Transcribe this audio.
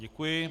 Děkuji.